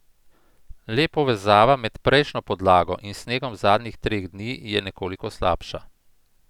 Le povezava med prejšnjo podlago in snegom zadnjih treh dni je nekoliko slabša.